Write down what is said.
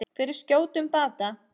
Fyrir skjótum bata.